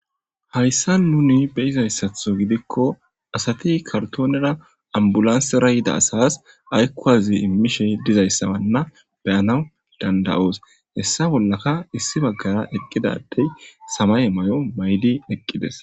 hayssa nuni beyizayssatho gidikko asati kartoonera ambulansera yida asas aykkuwazi immishey dizayssabanna beyanaw danda7oos hessa bollaka issi baggara eqqidadey samay may7o maydi eqqides